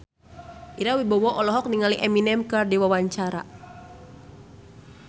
Ira Wibowo olohok ningali Eminem keur diwawancara